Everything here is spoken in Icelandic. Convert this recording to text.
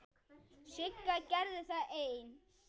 Sigga gerði það ein.